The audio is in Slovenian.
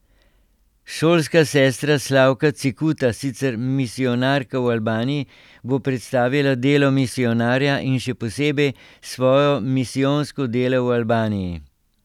Šolska sestra Slavka Cekuta, sicer misijonarka v Albaniji, bo predstavila delo misijonarja in še posebej svoje misijonsko delo v Albaniji.